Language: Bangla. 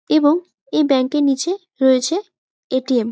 এবং এই ব্যাংক -টির নিচে রয়েছে এ.টি.এম. ।